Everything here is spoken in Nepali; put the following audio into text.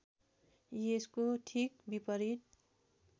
यसको ठीक विपरीत